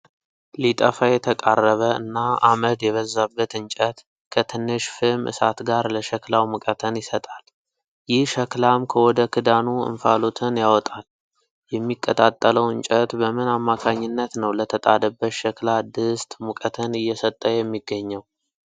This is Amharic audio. ሊጠፋ የተቃረበ እና አመድ የበዛበት እንጨት ከትንሽ ፍም እሳት ጋር ለሸክላው ሙቀትን ይሰጣል። ይህ ሸክላም ከወደ ክዳኑ እንፋሎትን ያወጣል። የሚቀጣጠለው እንጨት በምን አማካኝነት ነው ለተጣደበት ሸክላ ድስት ሙቀትን እየሰጠ የሚገኘው?